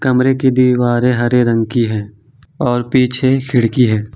कमरे की दीवारें हरे रंग की है और पीछे खिड़की है।